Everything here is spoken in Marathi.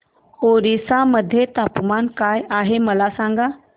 ओरिसा मध्ये तापमान काय आहे मला सांगा